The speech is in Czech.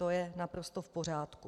To je naprosto v pořádku.